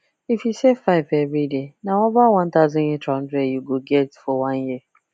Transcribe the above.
if you save five everyday na over one thousand eight hundred you go get for one year